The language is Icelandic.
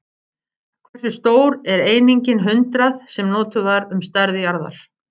Hversu stór er einingin hundrað, sem notuð var um stærð jarða?